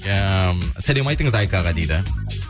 ыыы сәлем айтыңыз айкаға дейді